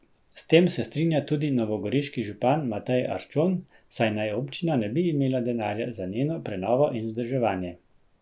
S tem se strinja tudi novogoriški župan Matej Arčon, saj naj občina ne bi imela denarja za njeno prenovo in vzdrževanje.